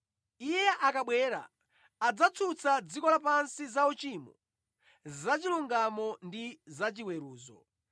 Iye akabwera, adzatsutsa dziko lapansi za uchimo, zachilungamo ndi zachiweruzo.